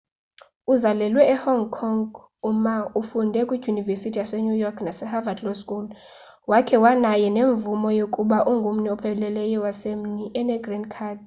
uzalelwe e hong kong u ma ufunde kwidyunivesithi yase new york nase harvad law school wakhe wanayo nemvume yokuba ngummi opheleleyo wasemelika ene green card